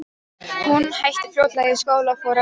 Hún hætti fljótlega í skóla og fór að vinna.